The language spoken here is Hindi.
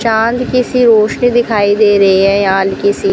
चाँद किसी रोशनी दिखाई दे रही है या हल्की सी--